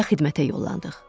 Və xidmətə yollandığ.